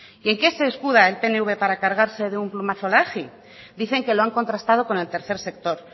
y en qué se escuda el pnv para cargarse de un plumazo la agi dicen que lo han contrastado con el tercer sector